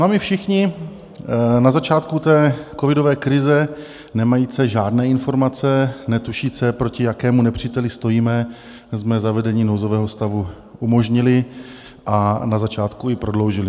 No a my všichni, na začátku té covidové krize nemající žádné informace, netušíce, proti jakému nepříteli stojíme, jsme zavedení nouzového stavu umožnili a na začátku i prodloužili.